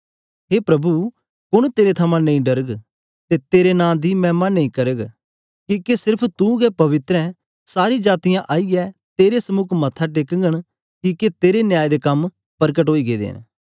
हे प्रभु कुन्न तेरे थमां नेई डरग ते तेरे नां दी मैह्मा नेई करग किके सिर्फ तू गै पवित्र ऐ सारी जातीयां आईयै तेरे समुक मत्था टेकगन ओगन किके तेरे न्याय दे कम परगट ओई गेदे न